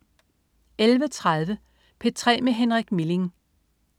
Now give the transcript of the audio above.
11.30 P3 med Henrik Milling